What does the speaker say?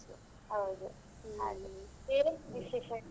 ಹೌದು ಹಾಗೆ. ಬೇರೆ ವಿಶೇಷ?